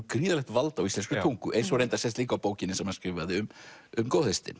gríðarlegt vald á íslenskri tungu eins og reyndar sést líka á bókinni sem hann skrifaði um um